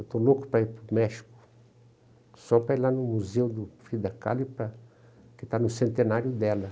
Eu estou louco para ir para o México, só para ir lá no museu da Frida Kahlo, e para, que está no centenário dela.